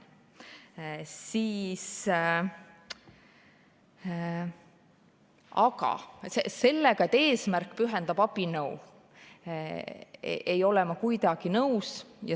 Aga sellega, et eesmärk pühendab abinõu, ei ole ma kuidagi nõus.